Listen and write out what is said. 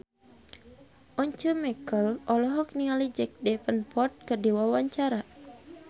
Once Mekel olohok ningali Jack Davenport keur diwawancara